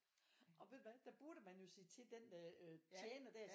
Og ved du hvad der burde man jo sige til den øh tjener der